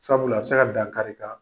Sabula a bɛ se ka dan kari i la ,